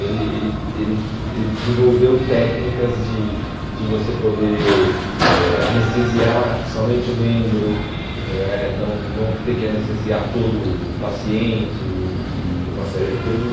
Ele ele ele ele desenvolveu técnicas de de você poder eh anestesiar somente o membro, ãh eh não não ter que anestesiar todo o paciente e e uma série de coisas.